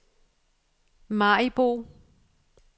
Maribo